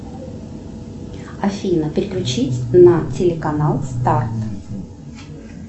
афина переключить на телеканал старт